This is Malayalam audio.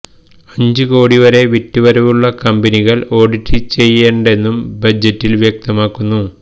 അഞ്ച് കോടി വരെ വിറ്റുവരവുള്ള കമ്പനികൾ ഓഡിറ്റ് ചെയ്യേൻണ്ടെന്നും ബജറ്റിൽ വ്യക്തമാക്കുന്നു